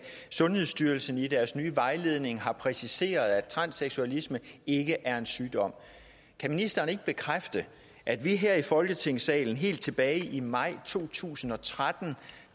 sundhedsstyrelsen i deres nye vejledning har præciseret at transseksualisme ikke er en sygdom kan ministeren ikke bekræfte at vi her i folketingssalen helt tilbage i maj to tusind og tretten